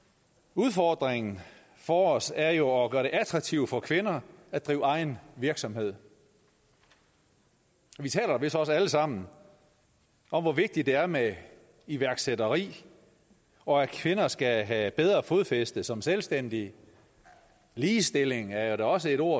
udfordringen for os er jo at gøre det attraktivt for kvinder at drive egen virksomhed vi taler vist også alle sammen om hvor vigtigt det er med iværksætteri og at kvinder skal have bedre fodfæste som selvstændige ligestilling er da også et ord